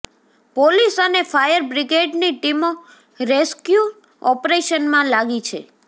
police અને fire બ્રિગેડની ટીમો રેસ્ક્યુ ઓપરેશનમાં લાગી છે